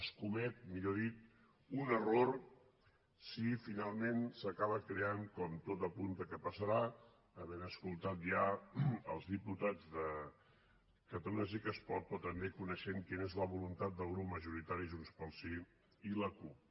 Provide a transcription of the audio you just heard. es comet millor dit un error si finalment s’acaba creant com tot apunta que passarà havent escoltat ja els diputats de catalunya sí que es pot però també coneixent quina és la voluntat del grup majoritari junts pel sí i la cup